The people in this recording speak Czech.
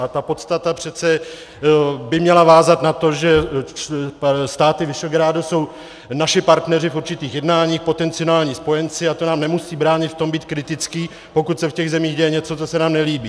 A ta podstata přece by měla vázat na to, že státy Visegrádu jsou naši partneři v určitých jednáních, potenciální spojenci, a to nám nemusí bránit v tom být kritický, pokud se v těch zemích děje něco, co se nám nelíbí.